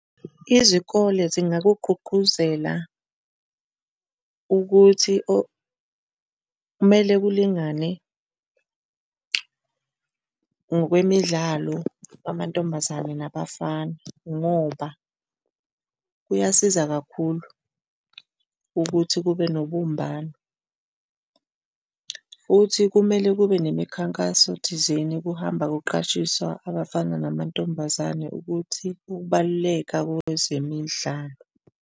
Izikole zingakugqugquzela ukuthi kumele kulingane ngokwemidlalo, kwamantombazane nabafana ngoba kuyasiza kakhulu ukuthi kube nobumbano. Futhi kumele kube nemikhankaso thizeni kuhamba kuqwashiswa abafana namantombazane ukuthi ukubaluleka kwezemidlalo.